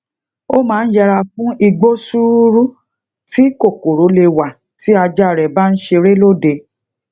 o maa n yera fun igbo suuru ti kokoro le wa ti aja re ba n sere lode